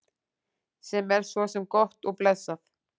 Sem er svo sem gott og blessað.